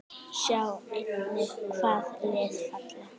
Sjá einnig: Hvaða lið falla?